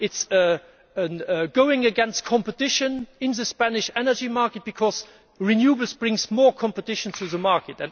it is going against competition in the Spanish energy market, because renewables bring more competition to the market.